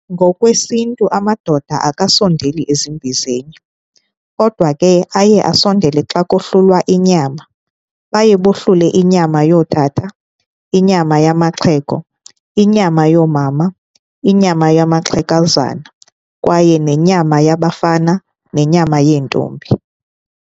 NgokwesiNtu amadoda akasondeli ezimbizeni, kodwa ke aye asondele xa kohlulwa inyama. Baye bohlule inyama yootata, inyama yamaxhego, inyama yoomama, inyama yamaxegwazana kwaye nenyama yabafana nenyama yeentombi.